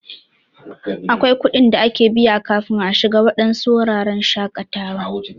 Akwai kuɗin da ake biya kafin a shiga waɗansu wurin shakatawa.